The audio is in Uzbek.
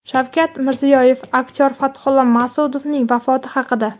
Shavkat Mirziyoyev aktyor Fathulla Mas’udovning vafoti haqida.